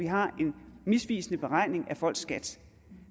har en misvisende beregning af folks skat